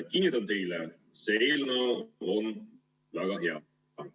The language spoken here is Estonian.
Kinnitan teile: see eelnõu on väga hea.